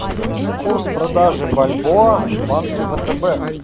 курс продажи бальбоа в банке втб